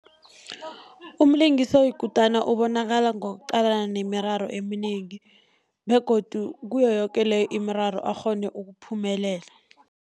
Umlingisi oyikutana ubonakala ngokuqalana nemiraro eminengi begodu kiyo yoke leyo imiraro akghone ukuphumelela.